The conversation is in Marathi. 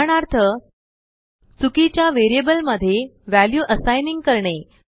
उदाहरणार्थ चुकीच्या वेरियबल मध्ये वॅल्यू Assigningकरणे